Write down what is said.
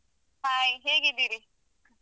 Hai ಹೇಗಿದ್ದೀರಿ?